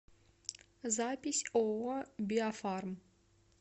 запись ооо биофарм